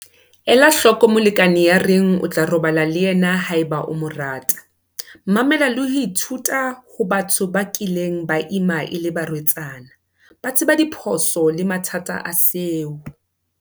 Ela hloko molekane ya reng o tla robala le yena haeba o mo rata. Mamela le ho ithuta ho batho ba kileng ba ima e le barwetsana. Ba tseba diphoso le mathata a seo.